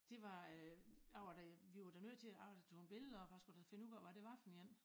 Det var øh jeg var da vi var da nødt til jeg tog billeder og vi skulle da finde ud af hvad det var for en